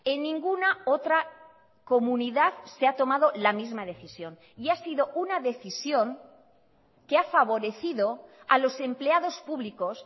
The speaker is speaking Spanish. en ninguna otra comunidad se ha tomado la misma decisión y ha sido una decisión que ha favorecido a los empleados públicos